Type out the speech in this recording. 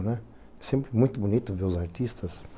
É sempre muito bonito ver os artistas.